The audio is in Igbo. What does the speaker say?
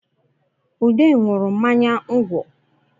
Ude nwụrụ mmanya ngwọ